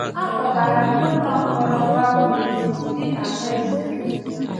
A kpọgara m n’ụlọ mkpọrọ Baumettes, dị na Marseilles.